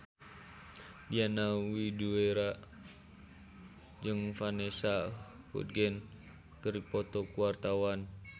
Diana Widoera jeung Vanessa Hudgens keur dipoto ku wartawan